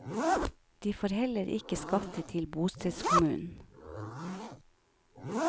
De får heller ikke skatte til bostedskommunen.